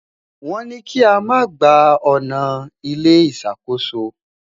wón ní i kí ama gbà ọnà ilé ìṣàkóso